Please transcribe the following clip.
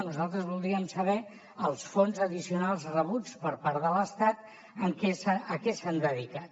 nosaltres voldríem saber els fons addicionals rebuts per part de l’estat a què s’han dedicat